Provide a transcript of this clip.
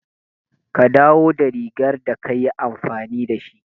Ka dawo da rigar da ka yi amfani da shi.